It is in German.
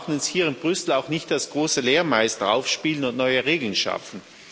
Wir brauchen uns hier in Brüssel auch nicht als große Lehrmeister aufzuspielen und neue Regeln zu schaffen.